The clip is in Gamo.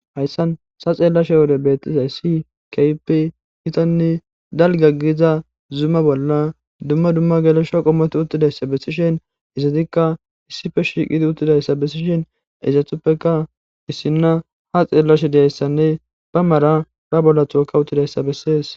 Hayisan sa xeella wore beettizay si kaypi kitanne dalgaggiza zuma bolla dumma dumma gelesho qommoti uttidayssa bessishen izatikka issife shiiqidi uttidayssa bessishen izathuppeka issinna ha xeellashediyayssanne ba mara ba bolla thooka uttidayissa beses